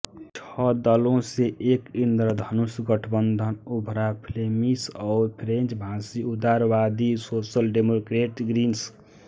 छह दलों से एक इंद्रधनुष गठबंधन उभरा फ्लेमिश और फ्रेंच भाषी उदारवादी सोशल डेमोक्रेट ग्रीन्स